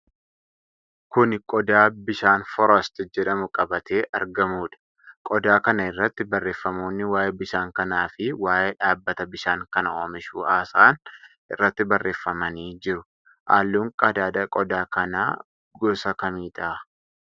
Kuni qodaa bishaan Forast jedhamu qabatee argamudha. Qodaa kana irratti barreeffamoonni waa'ee bishaan kanaa fi waa'ee dhaabbata bishaan kana oomishuu haasa'an irratti barreeffamanii jiru. Halluun qadaada qodaa kanaa gosa kamidha?